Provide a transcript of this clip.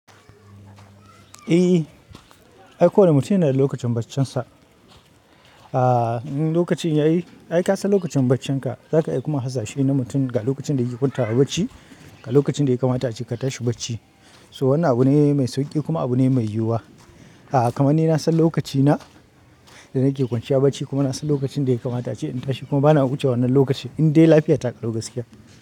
Eh aiko wani mutum yanada lokacin baccin sa. Aa, in lokacin yayi, ai ka san lokacin baccinka zaka iya kuma hasa shena mutum ga lokacin da yake kwantawa bacci, ga lokacin da ya kamata ace ka tashi bacci. So wannan abu ne mai sauki kuma abu ne mai yiwuwa. A'a kamar ni na san lokacina da nake kwanciya bacci kuma na san lokacin da ya kamata ace in tashi kuma bana wuce wannan lokaci in dai lafiya ta ƙalo gaskiya.